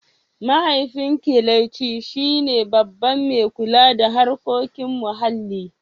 Mahaifin Kelechi shi ne Babban mai kula da harkokin muhalli.